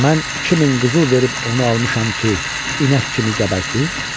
Mən 2000 qızıl verib onu almışam ki, inək kimi gəbərsin?